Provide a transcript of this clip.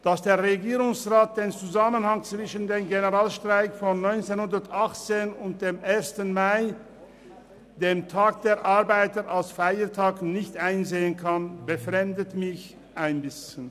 Dass der Regierungsrat den Zusammenhang zwischen dem Landesstreik von 1918 und dem Ersten Mai, dem Tag der Arbeit, nicht einsehen kann, befremdet mich ein bisschen.